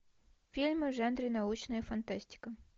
фильмы в жанре научная фантастика